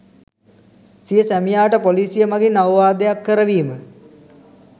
සිය සැමියාට පොලිසිය මගින් අවවාදයක් කරවීම